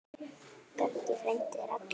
Böggi frændi er allur.